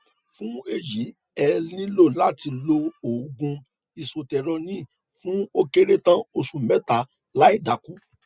fún èyí ẹ nílò láti lo òògùn isotretinoin fún ó kéré tàn oṣù mẹta láìdákù